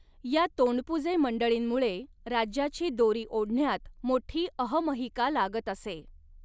या तोंडपुजे मंडळींमुळे राज्याची दोरी ओढण्यात मोठी अहमहिका लागत असे.